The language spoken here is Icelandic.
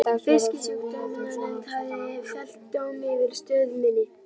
Fisksjúkdómanefnd hafði fellt dóm yfir stöð minni.